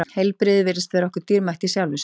Heilbrigði virðist vera okkur dýrmætt í sjálfu sér.